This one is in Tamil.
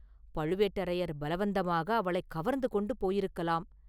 பழுவேட்டரையர் பலவந்தமாக அவளைக் கவர்ந்து கொண்டு போயிருக்கலாம்!